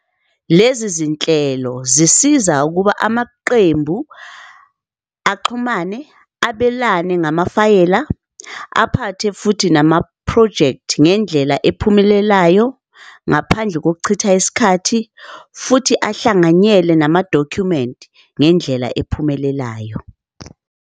Lezi zinhlelo zisiza ukuba amaqembu axhumane abelane ngamafayela aphathe futhi nama-project ngendlela ephumelelayo ngaphandle kokuchitha isikhathi, futhi ahlanganyele nama-document ngendlela ephumelelayo.